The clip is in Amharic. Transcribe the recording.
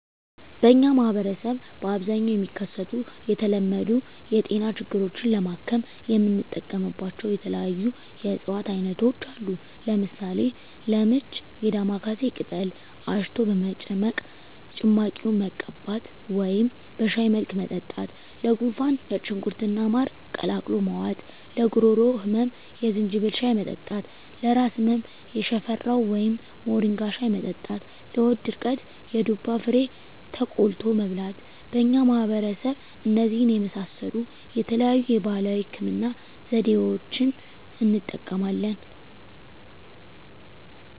በእኛ ማህበረሰብ በአብዛኛው የሚከሰቱ የተለመዱ የጤና ችግሮችን ለማከም የምንጠቀምባቸው የተለያዩ የእፅዋት አይነቶች አሉ። ለምሳሌ፦ -ለምች የዳማካሴ ቅጠል አሽቶ በመጭመቅ ጭማቂውን መቀባት ወደም በሻይ መልክ መጠጣት -ለጉንፋን ነጭ ሽንኩርት እና ማር ቀላቅሎ መዋጥ -ለጉሮሮ ህመም የዝንጅብል ሻይ መጠጣት -ለራስ ህመም የሽፈራው ወይም ሞሪንጋ ሻይ መጠጣት -ለሆድ ድርቀት የዱባ ፍሬ ተቆልቶ መብላት በእኛ ማህበረሰብ እነዚህን የመሳሰሉ የተለያዩ የባህላዊ ህክምና ዘዴዋችን እንጠቀማለን።